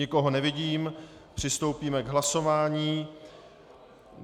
Nikoho nevidím, přistoupíme k hlasování.